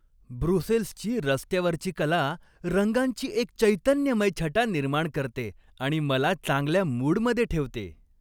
ब्रुसेल्सची रस्त्यावरची कला रंगांची एक चैतन्यमय छटा निर्माण करते आणि मला चांगल्या मूडमध्ये ठेवते.